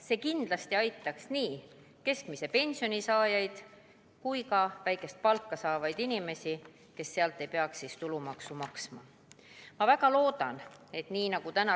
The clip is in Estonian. See kindlasti aitaks nii keskmise pensioni saajaid kui ka väikest palka saavaid inimesi, kes ei peaks siis selle pealt tulumaksu maksma.